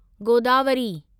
Godavari